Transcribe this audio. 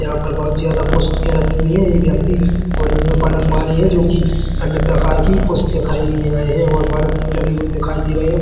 यहाँ पर बहोत ज्यादा पुस्तके रखी हुई है यह व्यक्ति कॉलेज में पढ़ने वाले है जो कि अन्य प्रकार की पुस्तक खरीदने आए है और बल्ब भी लगे हुए दिखाई दे रहे है।